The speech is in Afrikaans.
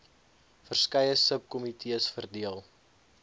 verskeie subkomitees verdeel